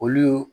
Olu